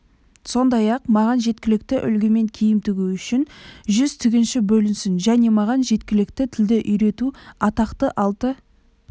сондай-ақ маған жергілікті үлгімен киім тігу үшін үш жүз тігінші бөлінсін және маған жергілікті тілді үйрету атақты алты